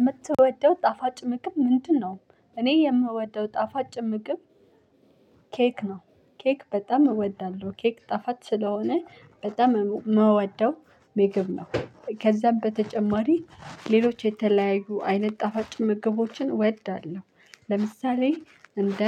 የምትወደው ጣፋጭ ምግብ ምንድነው? እኔ የምወደው ጣፋጭ ምግብ ኬክ ነው። ኬክ በጣም እወዳለሁ ኬክ ጣፋጭ ስለሆነ በጣም የምወደው ምግብ ነው። ከዛም በተጨማሪ ሌሎች የተለያዩ አይነት ጣፋጭ ምግቦችን እወዳለሁ። ለምሳሌ እንደ